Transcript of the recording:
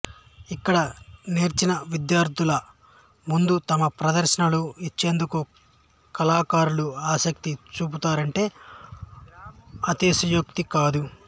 ఇక్కడ నేర్చిన విద్యార్థుల ముందు తమ ప్రదర్శనలు ఇచ్చేందుకు కళాకారులు ఆసక్తి చూపుతారంటే అతిశయోక్తి కాదు